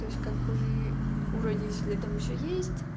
то есть как бы у родителей там ещё есть